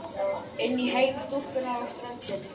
Inn í heim stúlkunnar á ströndinni.